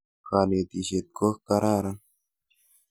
Kanetisyet ko kararan.